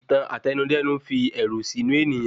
Ìtàn àtẹnudẹ́nu n fi ẹ̀rù sínú ènìyàn